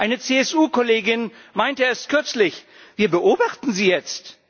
Eine CSU Kollegin meinte erst kürzlich Wir beobachten Sie jetzt.